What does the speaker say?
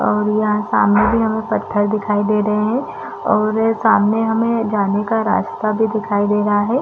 और यहाँ सामने भी हमे पत्थर दिखाई रहे है और सामने हमे जाने का रास्ता भी दिखाई दे रहा है ।